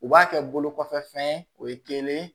U b'a kɛ bolo kɔfɛfɛn ye o ye kelen ye